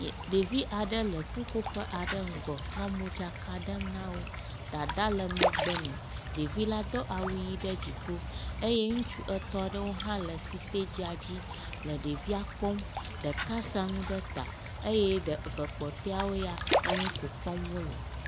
Ɖevi aɖe le ƒuƒoƒe aɖe ŋgɔ nɔ modzaka ɖem na wo. Dada le megbe nɛ. Ɖevi la do awu ʋi ɖe dziƒo eye ŋutsu etɔ̃ aɖewo hã le sitadzia dzi le evia kpɔ. Ɖeka sa nu ɖe eta eye ɖe eve kpɔtɔeawo ya enu kom kpɔm wo le.